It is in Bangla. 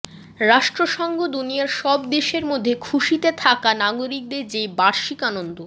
রাষ্ট্রসংঘ দুনিয়ার সব দেশের মধ্যে খুশিতে থাকা নাগরিকদের যে বার্ষিক আনন্দ